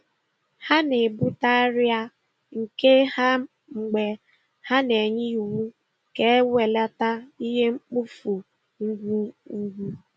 Ha na-ebute arịa nke ha mgbe ha na-enye iwu ka ewelata ihe mkpofu ngwugwu.